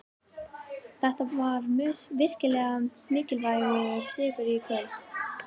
Þetta var virkilega mikilvægur sigur í kvöld.